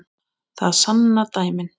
Það sanna dæmin.